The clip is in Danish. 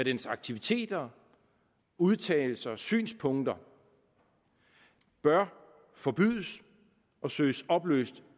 dens aktiviteter udtalelser og synspunkter bør forbydes og søges opløst